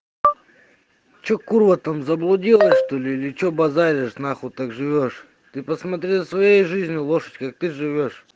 что курва там заблудилась что-ли или что базаришь нахуй так живёшь ты посмотри за своей жизнью лошадь как ты живёшь